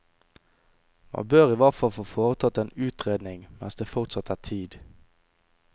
Man bør i hvert fall få foretatt en utredning mens det fortsatt er tid.